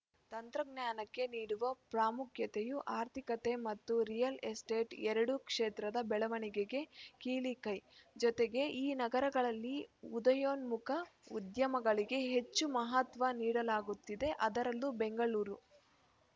ತಂತ್ರಜ್ಞಾನಕ್ಕೆ ನೀಡುವ ಪ್ರಾಮುಖ್ಯತೆಯು ಆರ್ಥಿಕತೆ ಮತ್ತು ರಿಯಲ್‌ ಎಸ್ಟೇಟ್‌ ಎರಡೂ ಕ್ಷೇತ್ರದ ಬೆಳವಣಿಗೆಗೆ ಕೀಲಿ ಕೈ ಜೊತೆಗೆ ಈ ನಗರಗಳಲ್ಲಿ ಉದಯೋನ್ಮುಖ ಉದ್ಯಮಗಳಿಗೆ ಹೆಚ್ಚು ಮಹತ್ವ ನೀಡಲಾಗುತ್ತಿದೆ ಅದರಲ್ಲೂ ಬೆಂಗಳೂರು